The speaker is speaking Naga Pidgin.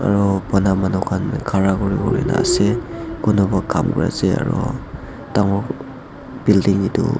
Aro bana manu khan khara kurivole la ase kunuba kam kurey ase aro dangor building etu--